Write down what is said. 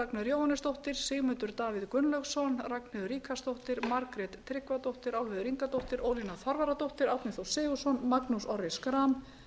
ragnheiður jóhannesdóttir sigmundur davíð gunnlaugsson ragnheiður ríkharðsdóttir ragnheiður tryggvadóttir álfheiður ingadóttir ólína þorvarðardóttir árni þór sigurðsson magnús orri schram